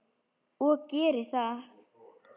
Og geri það.